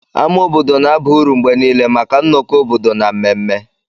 Ama obodo na-aba uru mgbe niile maka nnọkọ obodo na mmemme.